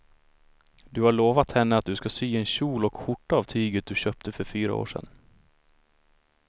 Du har lovat henne att du ska sy en kjol och skjorta av tyget du köpte för fyra år sedan.